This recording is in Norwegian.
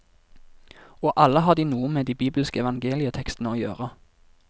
Og alle har de noe med de bibelske evangelietekstene å gjøre.